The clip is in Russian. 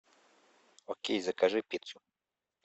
окей закажи пиццу